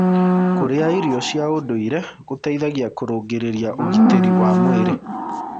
Kũrĩa irio cia ũndũĩre gũteĩthagĩa kũrũngĩrĩrĩa ũgĩtĩrĩ wa mwĩrĩ